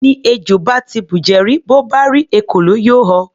Ẹni ejò bá ti bùjẹ rí, bó bá rí ekòló, yóò họ.